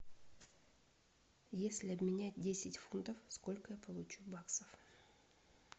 если обменять десять фунтов сколько я получу баксов